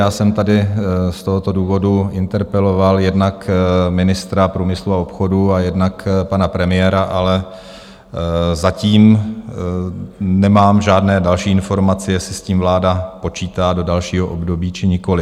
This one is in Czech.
Já jsem tady z tohoto důvodu interpeloval jednak ministra průmyslu a obchodu a jednak pana premiéra, ale zatím nemám žádné další informace, jestli s tím vláda počítá do dalšího období, či nikoliv.